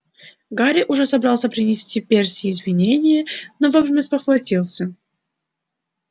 гарри уже собрался принести перси извинение но вовремя спохватился